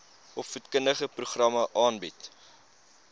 opvoedkundige programme aanbied